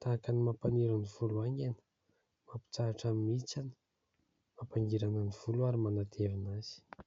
tahaka ny : mampaniry ny volo haingana, mampitsahatra ny mihitsana, mampangirana ny volo ary manatevina azy.